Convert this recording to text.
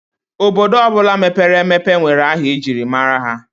Obodo ọbụla mepere emepe nwere aha ejiri mara ya.